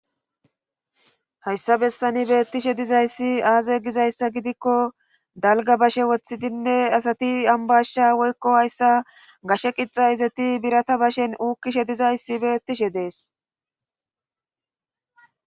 Hayssa bessani beettishe dizayssi aaze gizayssa gidikko dalga bashe woththidinne asati ambashsha woykko hayssa gashe qixa izati birata bashen uukkishe dizayssi beettishe dees